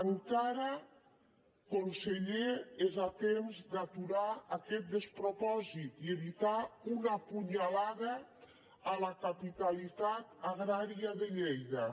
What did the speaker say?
encara conseller és a temps d’aturar aquest despropòsit i evitar una punyalada a la capitalitat agrària de lleida